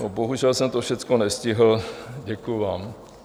Bohužel jsem to všechno nestihl, děkuji vám.